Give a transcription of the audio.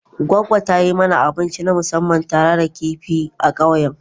Goggo ta yi mana abinci na musamman tare da kifi a ƙauyen.